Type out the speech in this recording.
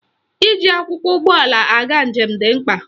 Iji akwụkwọ ụgbọala aga njem dị mkpa